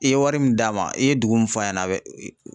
I ye wari min d'a ma, i ye dugu min fɔ a ɲɛna a bɛ